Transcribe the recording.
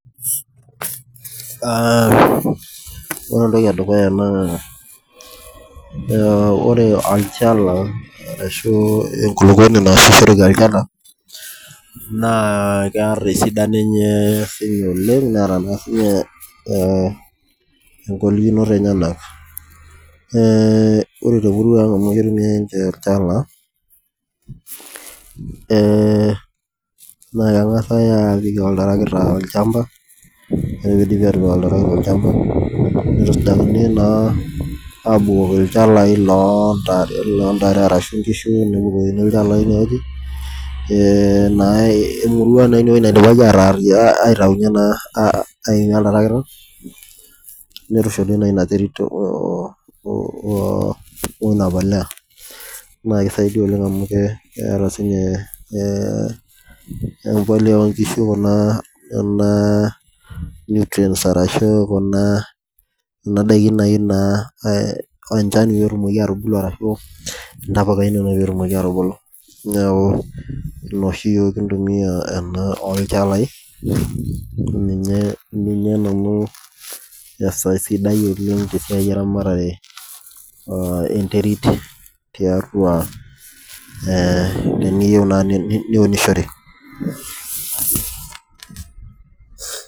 Ore entoki edukuya naa, ore olchala arashu enkuluponi nasiru olchala naa kearr esidano enye apik oleng neata sii ninye enkongolikinot enyena, ore te emuruag amu ketumi enchala, naa kengasi aapik oltarakita olchamba, ore peidipi atopik iltarakita olchamba neitusujakini naa abukoki ilchalai loo intare arashu inkishu neyeu ilchalai ineweji, naa emurua naa ineweji naidipaki ataaruyan aitayunye naa aimie oltarakita neitushuli naa ina terit o ina polea naa keisaidia oleng amu keeta sii ninye empolea oonkishu kuna [cs nutrients arashu kuna ndaiki naaji naa ore enchan netumoki atubulu ashu intapukani peetumoki atubulu neaku ina oshi yook kintumiya anaa olchalai ninye nanu esiai sidai oleng te siai eramatare enterit tiatua, tiniyeu naa niunishore.